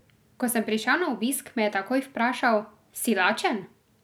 Ko sem prišel na obisk, me je takoj vprašal: "Si lačen?